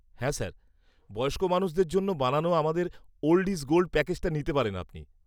-হ্যাঁ স্যার। বয়স্ক মানুষদের জন্য বানানো আমাদের 'ওল্ড ইজ গোল্ড' প্যাকেজটা নিতে পারেন আপনি।